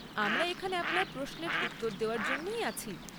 আমরা এখানে আপনার প্রশ্নের উত্তর দেওয়ার জন্যেই আছি।